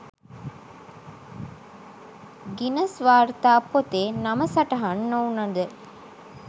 Guinness වාර්තා පොතේ නම සටහන් නොවුණද